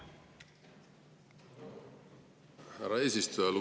Härra eesistuja!